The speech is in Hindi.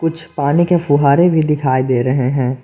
कुछ पानी के फुहारे भी दिखाई दे रहे हैं।